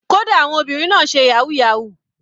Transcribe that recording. Kódà àwọn obìnrin kan náà ń ṣe yahoo yahoo.